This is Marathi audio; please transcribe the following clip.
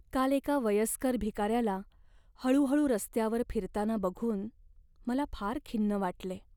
काल एका वयस्कर भिकाऱ्याला हळूहळू रस्त्यावर फिरताना बघून मला फार खिन्न वाटले.